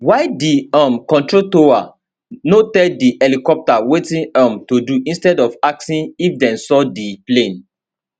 why di um control tower no tell di helicopter wetin um to do instead of asking if dem saw di plane